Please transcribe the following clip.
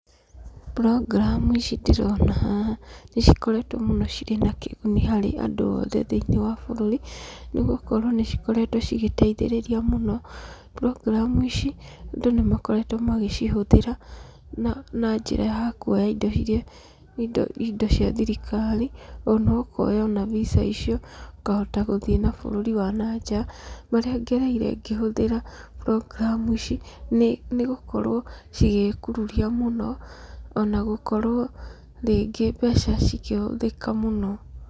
program ici ndĩrona haha nĩ cikoretwo na kĩguni harĩ andũ othe thĩinĩ ya bũrũri, nĩ gũkorwo nĩ cikoretwo cigĩteithĩrĩria mũno. program ici andũ nĩ makoretwo magĩcihũthĩra na njĩra ya kuoya indo iria indo indo cia thirikari, ona ũkoya ona VISA icio ũkahota gũthiĩ na bũrũri wa nanja. Marĩa ngereire ngĩhũthĩra program ici nĩ gũkorwo cigĩĩkururia mũno, ona gũkorwo rĩngĩ mbeca cikĩhũthĩka mũno.